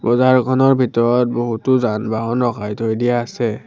বজাৰখনৰ ভিতৰত বহুতো যান-বাহন ৰখাই থৈ দিয়া আছে।